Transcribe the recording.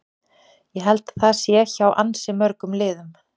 Ég held að það sé hjá ansi mörgum liðum.